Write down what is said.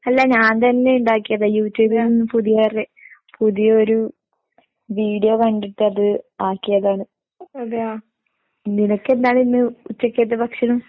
അല്ല ഞാൻ തന്നെ ഇണ്ടാക്കിയതാ, യൂട്യൂബിൽ പുതിയ റെ പുതിയൊരു വീഡിയോ കണ്ടിട്ടത് ആക്കിയതാണ്. നിനക്കെന്താണിന്ന് ഉച്ചയ്ക്കത്തെ ഭക്ഷണം?